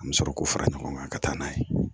An bɛ sɔrɔ k'u fara ɲɔgɔn kan ka taa n'a ye